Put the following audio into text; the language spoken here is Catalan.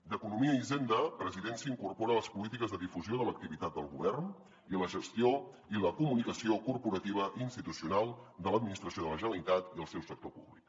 d’economia i hisenda presidència incorpora les polítiques de difusió de l’activitat del govern i la gestió i la comunicació corporativa institucional de l’administració de la generalitat i el seu sector públic